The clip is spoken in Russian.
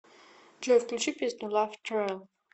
джой включи песню лав тру